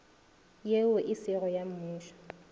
yeo e sego ya mmušo